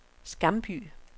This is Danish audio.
Skamby